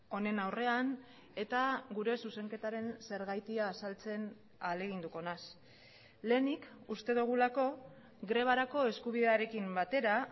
honen aurrean eta gure zuzenketaren zergatia azaltzen ahaleginduko naiz lehenik uste dugulako grebarako eskubidearekin batera